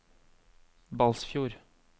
Balsfjord